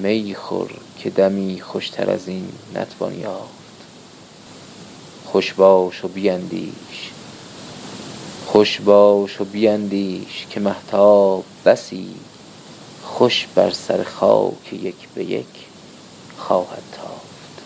میخور که دمی خوشتر ازین نتوان یافت خوش باش و بیندیش که مهتاب بسی خوش بر سر خاک یک به یک خواهد تافت